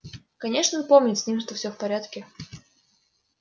конечно помнит с ним что все в порядке